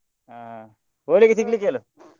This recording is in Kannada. ಹಾ ಹೋಳಿಗೆ ಹೇಳು.